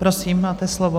Prosím, máte slovo.